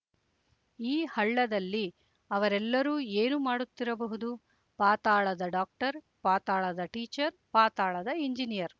ಆ ಹಳ್ಳದಲ್ಲಿ ಅವರೆಲ್ಲರೂ ಏನು ಮಾಡುತ್ತಿರಬಹುದು ಪಾತಾಳದ ಡಾಕ್ಟರ್ ಪಾತಾಳದ ಟೀಚರ್ ಪಾತಾಳದ ಇಂಜಿನಿಯರ್